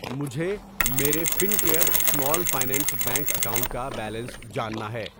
مجھے میرے Fincare small finance bank account کا بیلنس جاننا ہے۔